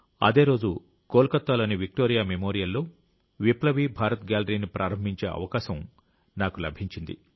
అదే రోజు కోల్కతాలోని విక్టోరియా మెమోరియల్లో విప్లవీ భారత్ గ్యాలరీని ప్రారంభించే అవకాశం కూడా నాకు లభించింది